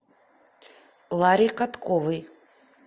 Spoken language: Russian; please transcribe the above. ларе катковой